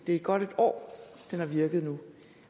er godt et år den har virket nu